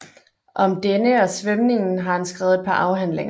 Om denne og svømningen har han skrevet et par afhandlinger